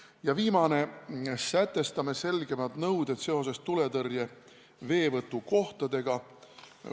Ja viimane: sätestame selgemad nõuded tuletõrje veevõtukohtade kohta.